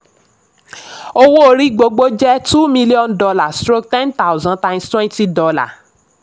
owó orí gbogbo jẹ́ two million dollar stroke ten thousand times twenty dollar